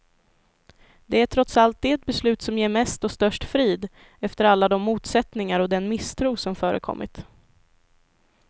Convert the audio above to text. Det är trots allt det beslut som ger mest och störst frid, efter alla de motsättningar och den misstro som förekommit.